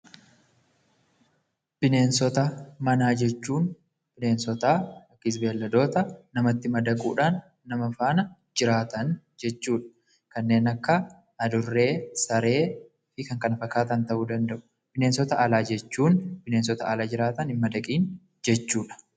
Bineensota manaa jechuun bineensota yookiin beeyladoota namatti madaquudhaan nama faana jiraatan jechuu dha. Kanneen akka Adurree, Saree fi kan kana fakkaatan ta'uu danda'u. Bineensota alaa jechuun bineensota ala jiraatan hin madaqin jechuudha.